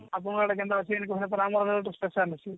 ଆପଣଙ୍କ ଆଡେ କେନ୍ତା ଅଛି ଆମର ତ special